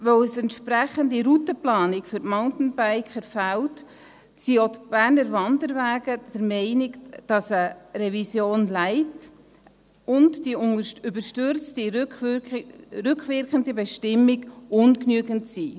Weil eine entsprechende Routenplanung für die Mountainbiker fehlt, sind auch die Berner Wanderwege der Meinung, dass eine «Revision Light» und die überstürzte rückwirkende Bestimmung ungenügend sind.